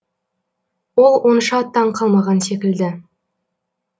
ол онша таң қалмаған секілді